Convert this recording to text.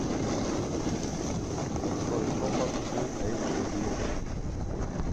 открой шепот фул эйч ди